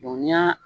ni y'a